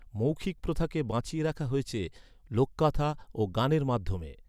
মৌখিক প্রথাকে বাঁচিয়ে রাখা হয়েছে লোককথা ও গানের মাধ্যমে।